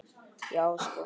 Já, sko!